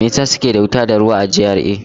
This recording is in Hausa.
Me yasa suke da wuta da ruwa a GRA?